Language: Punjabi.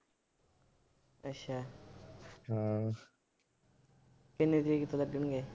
ਕਿੰਨੀ ਤਾਰੀਕ ਤੋਂ ਲੱਗਣਗੇ।